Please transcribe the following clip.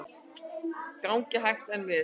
Gengið hægt en vel